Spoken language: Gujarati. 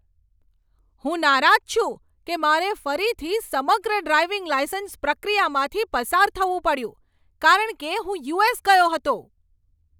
હું નારાજ છું કે મારે ફરીથી સમગ્ર ડ્રાઇવિંગ લાઇસન્સ પ્રક્રિયામાંથી પસાર થવું પડ્યું કારણ કે હું યુ.એસ. ગયો હતો.